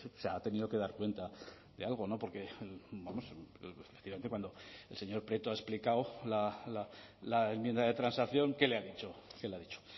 se ha tenido que dar cuenta de algo no porque efectivamente cuando el señor prieto ha explicado la enmienda de transacción qué le ha dicho qué lo ha dicho